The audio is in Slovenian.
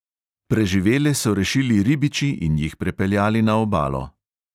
Preživele so rešili ribiči in jih prepeljali na obalo.